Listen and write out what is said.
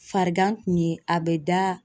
Farigan kun ye a bɛ da